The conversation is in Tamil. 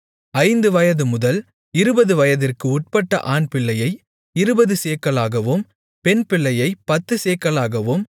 ஐந்து வயதுமுதல் இருபது வயதிற்கு உட்பட்ட ஆண்பிள்ளையை இருபது சேக்கலாகவும் பெண்பிள்ளையைப் பத்துச்சேக்கலாகவும்